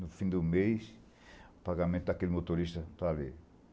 No fim do mês, o pagamento daquele motorista estava ali.